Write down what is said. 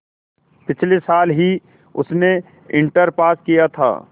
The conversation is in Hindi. पिछले साल ही उसने इंटर पास किया था